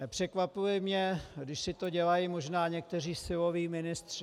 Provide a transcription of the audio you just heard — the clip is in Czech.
Nepřekvapuje mě, když si to dělají možná někteří siloví ministři.